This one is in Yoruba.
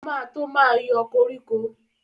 O ma tó ma yọ koríko